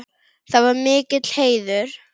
Það var mikill heiður.